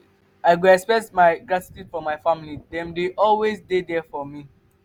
i go express my appreciation for my family; dem dey always there for me.